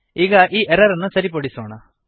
ಈಗ ಈ ಎರರ್ ಅನ್ನು ಸರಿಪಡಿಸೋಣ